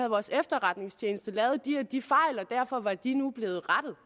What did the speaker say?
vores efterretningstjeneste lavet de og de fejl og derfor var de nu blevet rettet